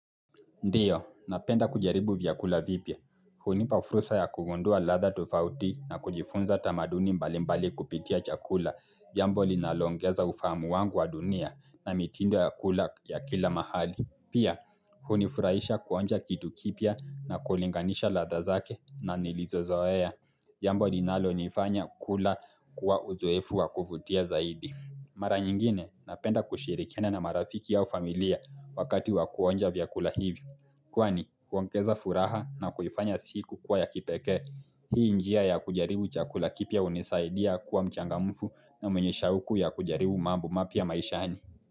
Ndio, napenda kujaribu vyakula vipya. Hunipa fursa ya kugundua ladha tofauti na kujifunza tamaduni mbalimbali kupitia chakula. Jambo linaloongeza ufahamu wangu wa dunia na mitindo ya kula ya kila mahali. Pia, hunifurahisha kuonja kitu kipya na kulinganisha ladha zake na nilizozoea. Jambo linalonifanya kula kwa uzoefu wa kuvutia zaidi. Mara nyingine napenda kushirikiana na marafiki au familia wakati wa kuonja vyakula hivi. Kwani, huongeza furaha na kuifanya siku kuwa ya kipekee, hii njia ya kujaribu chakula kipya hunisaidia kuwa mchangamfu na mwenye shauku ya kujaribu mambo mapya maishani.